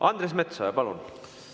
Andres Metsoja, palun!